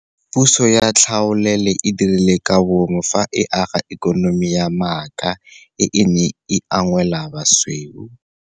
Puso ya tlhaolele e dirile ka bomo fa e aga ikonomi ya maaka e e neng e unngwela basweu.